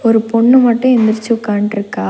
ஒரு பொண்ணு மட்டு எந்திரிச்சு உக்காந்ட்ருக்கா.